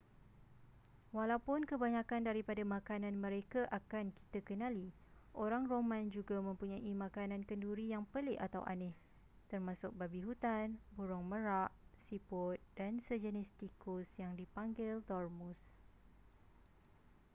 walaupun kebanyakan daripada makanan mereka akan kita kenali orang roman juga mempunyai makanan kenduri yang pelik atau aneh termasuk babi hutan burung merak siput dan sejenis tikus yang dipanggil dormouse